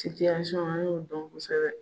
an y'o dɔn kosɛbɛ